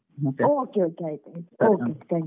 Okay, okay ಆಯ್ತು okay thank you .